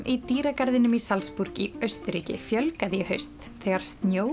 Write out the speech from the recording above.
í dýragarðinum í Salzburg í Austurríki fjölgaði í haust þegar